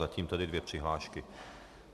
Zatím tedy dvě přihlášky.